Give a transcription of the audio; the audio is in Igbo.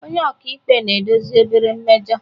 Onye ọka ikpe na-edozi obere mmejọ